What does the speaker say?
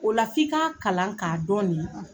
O la f'i k'a kalan k'a dɔn nin .